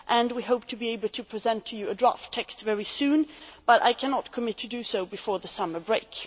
We hope to be able to present you with a draft text very soon but I cannot undertake to do so before the summer break.